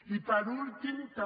i per últim també